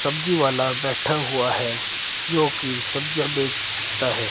सब्जी वाला बैठा हुआ है जोकि सब्जियां बेचता है।